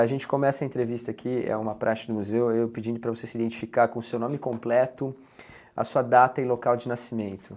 A gente começa a entrevista aqui, é uma praxe do museu, eu pedindo para você se identificar com seu nome completo, a sua data e local de nascimento.